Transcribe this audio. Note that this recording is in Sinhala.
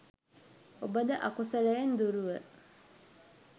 ඔබද අකුසලයෙන් දුරුව